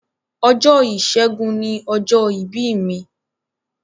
Ọjọ́ ìsẹ́gun ni ọjọ́ ìbí mi.